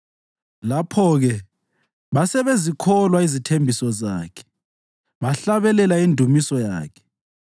Lapho-ke base bezikholwa izithembiso zakhe bahlabelela indumiso yakhe.